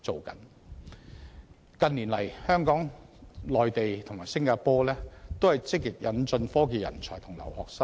近年，香港、內地和新加坡均積極引進科技人才和留學生。